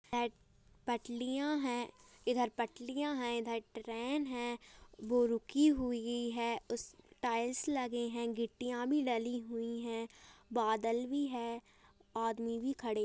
प-पटलियाँ हैं इधर पटलियाँ हैं इधर ट-ट्रेन है. वो रुकी हुई है उस टाइल्स लगे हैं गिट्टियाँ भी डली हुई हैं बादल भी हैं आदमी भी खड़े --